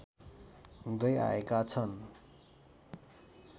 हुँदै आएका छन्